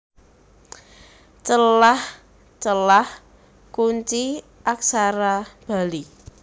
Celah Celah Kunci Aksara Bali